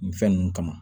Nin fɛn ninnu kama